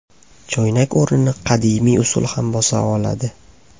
Choynak o‘rnini qadimiy usul ham bosa oladi.